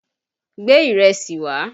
Gbé ìrẹsì wá!